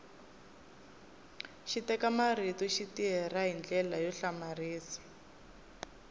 xiteka marito xi tirha hi ndlela yo hlamarisa